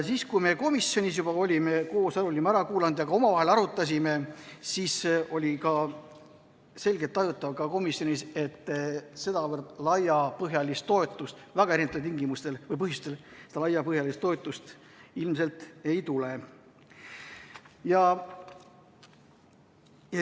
Kui me komisjonis olime ettekande koos ära kuulanud ja omavahel arutanud, siis oli selgelt tajutav, et sedavõrd laiapõhjalist toetust väga erinevatel põhjustel ilmselt ei tule.